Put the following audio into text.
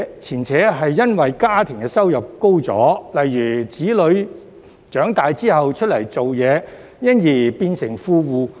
前者是因為家庭收入增加，例如子女長大後出來工作，因而變成富戶。